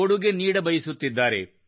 ಕೊಡುಗೆ ನೀಡಬಯಸುತ್ತಿದ್ದಾರೆ